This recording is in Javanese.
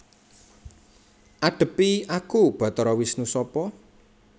Adhepi aku Batara Wisnu Sapa